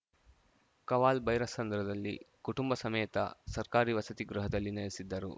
ಕವಾಲ್‌ಭೈರಸಂದ್ರದಲ್ಲಿ ಕುಟುಂಬ ಸಮೇತ ಸರ್ಕಾರಿ ವಸತಿ ಗೃಹದಲ್ಲಿ ನೆಲೆಸಿದ್ದರು